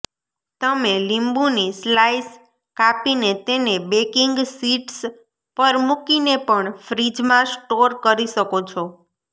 તમે લીંબુની સ્લાઈસ કાપીને તેને બેકિંગ શીટ્સ પર મુકીને પણ ફ્રિઝમાં સ્ટોર કરી શકો છો